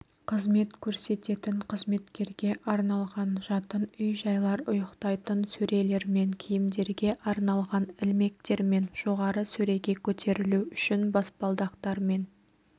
қызмет көрсететін қызметкерге арналған жатын үй-жайлар ұйықтайтын сөрелермен киімдерге арналған ілмектермен жоғары сөреге көтерілу үшін баспалдақтармен